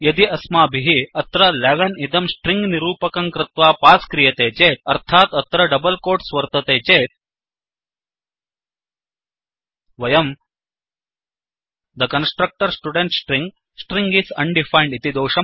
यदि अस्माभिः अत्र 11 इदं स्ट्रिंग निरूपकं कृत्वा पास् क्रियते चेत् अर्थात् अत्र डबल् कोट्स् वर्तते चेत् वयम् the constructor student string String is undefined